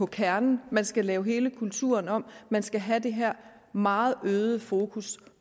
kernen man skal lave hele kulturen om man skal have det her meget øgede fokus